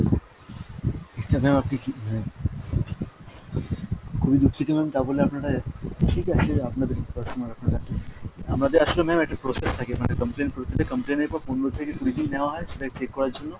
খুবই দুঃখিত ma'am তা বলে আপনারা, ঠিক আছে আপনাদেরই personal আপনারা। আমাদের আসলে ma'am একটা process থাকে মানে complain প্রতিটা complain এর পর পনেরো থেকে কুড়ি দিন নেওয়া হয় সেটাকে check করার জন্য,